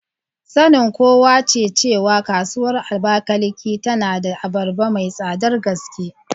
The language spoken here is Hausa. Sanin kowa ne cewa Kasuwar Abakaliki tana da abarba mai tsadar gaske.